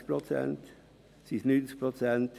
Sind es 20 Prozent oder sind es 90 Prozent?